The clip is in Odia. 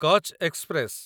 କଚ୍ ଏକ୍ସପ୍ରେସ